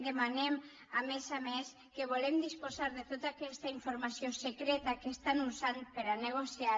demanem a més a més que volem disposar de tota aquesta informació secreta que estan usant per a negociar